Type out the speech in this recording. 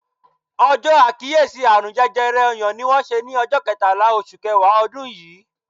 Ọjọ àkíyèsí àrùn jẹjẹrẹ ọyàn ni wón ṣe ni ọjọ ketala oṣù kẹwàá odun yii